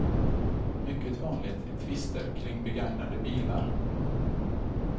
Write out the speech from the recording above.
Mycket vanligt är tvister kring begagnade bilar.